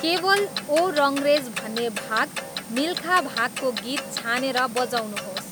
केवल ओ रङरेज भन्ने भाग मिल्खा भागको गीत छानेर बजाउनुहोस्